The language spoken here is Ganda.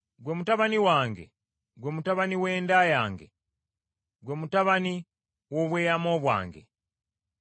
Ggwe mutabani wange, ggwe mutabani w’enda yange, ggwe mutabani w’obweyamo bwange.